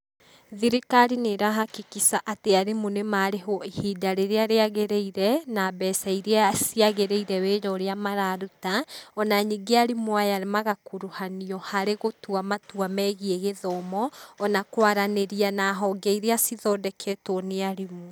Thirikari nĩ ĩrahakikica atĩ arimũ nĩ maarĩhwo ihinda rĩrĩa ríagĩrĩire, na mbeca iria ciagĩrĩire wĩra ũría mararuta, ona ningĩ arimũ aya magakuruhanio harĩ gũtua matua megiĩ gĩthomo, ona kwaranĩria na honge iria cithondeketwo nĩ arimũ.